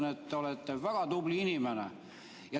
Ma ütlen, te olete väga tubli inimene.